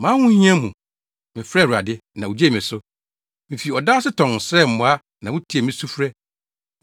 “Mʼahohia mu mefrɛɛ Awurade, na ogyee me so. Mifi ɔda ase tɔnn srɛɛ mmoa na wutiee me sufrɛ.